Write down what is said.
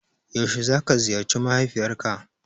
Yaushe za ka ziyarci mahaifiyar ka